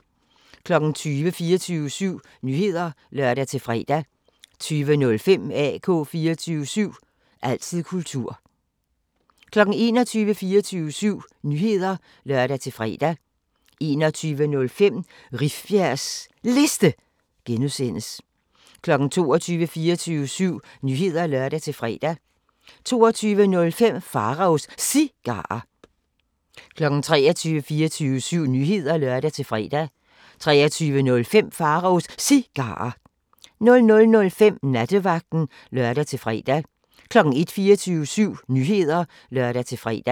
20:00: 24syv Nyheder (lør-fre) 20:05: AK 24syv – altid kultur 21:00: 24syv Nyheder (lør-fre) 21:05: Rifbjergs Liste (G) 22:00: 24syv Nyheder (lør-fre) 22:05: Pharaos Cigarer 23:00: 24syv Nyheder (lør-fre) 23:05: Pharaos Cigarer 00:05: Nattevagten (lør-fre) 01:00: 24syv Nyheder (lør-fre)